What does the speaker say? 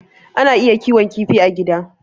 Ana iya kiwon kifi a gida.